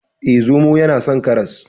Eh, zomo yana son karas.